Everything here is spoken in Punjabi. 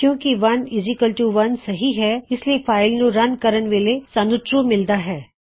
ਕਿਉਂ ਕੀ 1 ਬਰਾਬਰ 1 ਸਹੀ ਹੈ ਇਸ ਲਈ ਫਾਇਲ ਨੂੰ ਰਨ ਕਰਣ ਵੇਲੇ ਸਾਨੂੰ ਟਰੂ ਮਿਲਦਾ ਹੈ